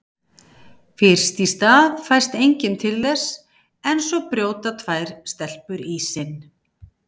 Fyrst í stað fæst enginn til þess en svo brjóta tvær stelpur ísinn.